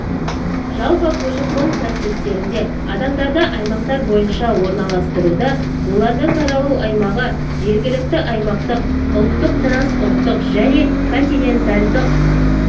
жалпы көші-қон процестерінде адамдарды аймақтар бойынша орналастыруда олардың таралу аймағы жергілікті аймақтық ұлттық трансұлттық және континентальдық